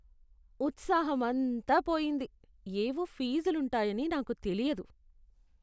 ఉత్సాహం అంతా పోయింది. ఏవో ఫీజులుంటాయని నాకు తెలియదు.